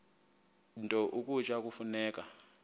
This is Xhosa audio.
nto ukutya kufuneka